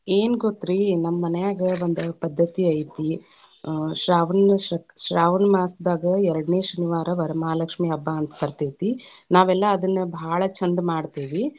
ಏನ್‌ ಗೋತ್ರೀ, ನಮ್ಮ ಮನ್ಯಾಗ ಒಂದ ಪದ್ದತಿ ಐತಿ, ಆ ಶ್ರಾವಣಮಾಸಕ್~ ಶ್ರಾವಣಮಾಸದಾಗ ಎರಡನೇ ಶನಿವಾರ ವರಲಕ್ಷ್ಮೀ ಹಬ್ಬಾ ಅಂತ ಬರತೇತಿ, ನಾವೆಲ್ಲಾ ಅದನ್ನ ಭಾಳ ಛಂದ ಮಾಡ್ತೇವಿ.